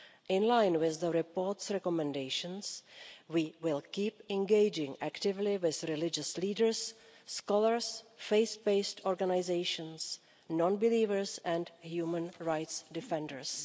In line with the report's recommendations, we will keep engaging actively with religious leaders, scholars, faith based organisations, non-believers and human rights defenders.